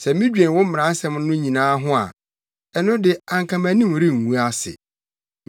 Sɛ midwen wo mmaransɛm no nyinaa ho a, ɛno de, anka mʼanim rengu ase.